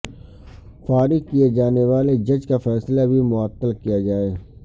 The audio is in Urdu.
فارغ کیے جانے والے جج کا فیصلہ بھی معطل کیا جائے